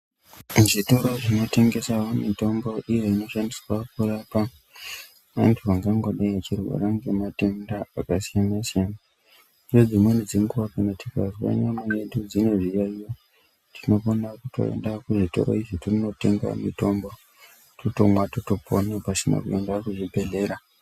Muzvitoro zvinotengesa mitombo iyo inoshandiswa kurapa vantu vangangodei vachirwara nematenda akasiyana siyana, kunedzimweni dzenguva pamwe tikanzwa nyama dzedu dzine zviyayiyo tinofana kutoenda kuzvitora izvi tinotenga mitombo totonwa totopona pasina kuenda kuzvibhedlera .